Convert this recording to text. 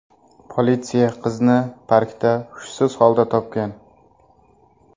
Politsiya qizni parkda hushsiz holda topgan.